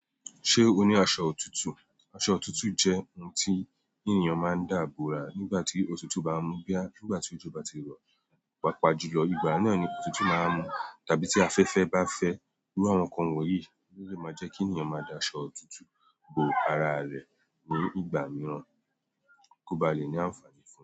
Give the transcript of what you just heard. Ṣé o ní aṣọ òtútù? Aṣọ òtútù jẹ́ ohun tí ènìyàn máa ń dà bora nígbà tí òtútù bá ń mú bóyá nígbà tí òjò bá ti rọ̀, pàápàá jùlọ ìgbà náà ni òtútù máa ń mú. Tàbí tí afẹ́fẹ́ bá fẹ́. Irú àwọn nǹkan wọ̀nyí, ó lè máa jẹ́ kí ènìyàn máa da aṣọ òtútù bo ara rẹ̀ ní ìgbà mìíràn kó ba lè ní àǹfààní fún un.